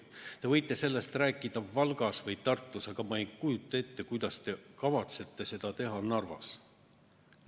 Te võite sellest rääkida Valgas või Tartus, aga ma ei kujuta ette, kuidas te kavatsete seda teha Narvas.